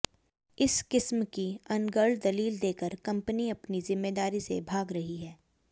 इस किस्म की अनर्गल दलील देकर कंपनी अपनी जिम्मेदारी से भाग रही है